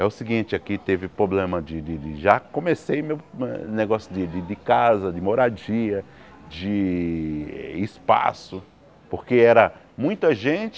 É o seguinte, aqui teve problema de de de... Já comecei meu negócio de casa, de moradia, de espaço, porque era muita gente